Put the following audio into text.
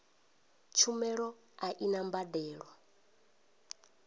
tshumelo a i na mbadelo